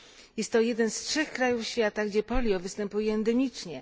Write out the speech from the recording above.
Jest to jeden z trzech krajów świata, gdzie polio występuje endemicznie.